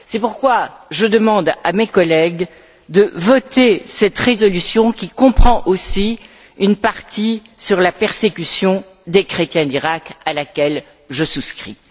C'est pourquoi je demande à mes collègues de voter cette résolution qui comprend aussi une partie sur la persécution des chrétiens d'Iraq, à laquelle je souscris.